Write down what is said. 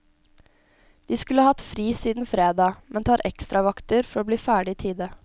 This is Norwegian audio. De skulle hatt fri siden fredag, men tar ekstravakter for å bli ferdig i tide.